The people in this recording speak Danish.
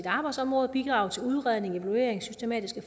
arbejdsområde og bidrage til udredning evaluering systematisk